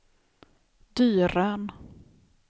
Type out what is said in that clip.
Dyrön